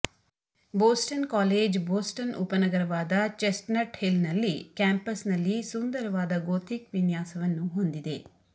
Boston college Boston ಉಪನಗರವಾದ Chestnut ಹಿಲ್ನಲ್ಲಿ ಕ್ಯಾಂಪಸ್ನಲ್ಲಿ ಸುಂದರವಾದ ಗೋಥಿಕ್ ವಿನ್ಯಾಸವನ್ನು ಹೊಂದಿದೆ